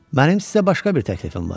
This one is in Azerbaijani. Mənim sizə başqa bir təklifim var.